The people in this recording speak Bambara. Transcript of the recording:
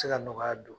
Se ka nɔgɔya don